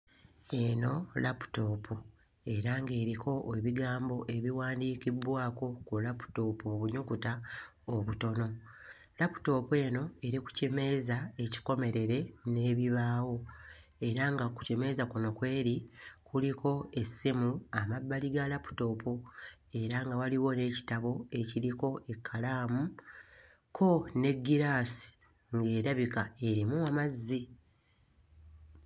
Eno laputoopu era ng'eriko ebigambo ebiwandiikibbwako ku laputoopu obunyukuta obutono, laputoopu eno eri ku kimeeza ekikomerere n'ebibaawo era nga ku kimeeza kuno kweri kuliko essimu amabbali ga laputoopu era nga waliwo n'ekitabo ekiriko ekkalaamu kko n'eggiraasi ng'erabika erimu amazzi.